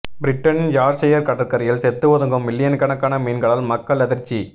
பிரிட்டனின் யார்க்ஷயர் கடற்கரையில் செத்து ஒதுங்கும் மில்லியன் கணக்கான மீன்களால் மக்கள் அதிர்ச்சி